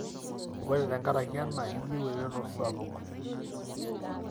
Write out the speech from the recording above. orqe tenkaraki ena iyieu eretoto sapuk